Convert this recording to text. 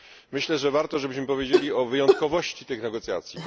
Myślę, że warto, żebyśmy powiedzieli o wyjątkowości tych negocjacji.